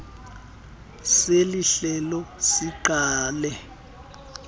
seli hlelo siqale